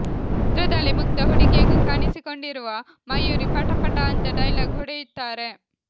ಚಿತ್ರದಲ್ಲಿ ಮುಗ್ಧ ಹುಡುಗಿಯಾಗಿ ಕಾಣಿಸಿಕೊಂಡಿರುವ ಮಯೂರಿ ಪಟ ಪಟ ಅಂತ ಡೈಲಾಗ್ ಹೊಡೆಯುತ್ತಾರೆ